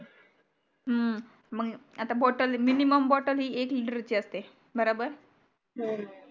हम्म मग आता bottle मग minimum bottle ही एक liter ची असते बराबर हम्म